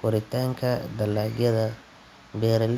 koritaanka dalagyada. Beeraley.